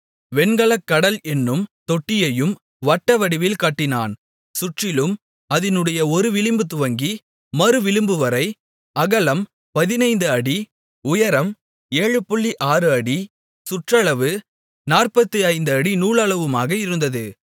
வெண்கலக் கடல் என்னும் தொட்டியையும் வட்டவடிவில் கட்டினான் சுற்றிலும் அதினுடைய ஒருவிளிம்பு துவங்கி மறுவிளிம்புவரை அகலம் 15 அடி உயரம் 76 அடி சுற்றளவு 45 அடி நூலளவுமாக இருந்தது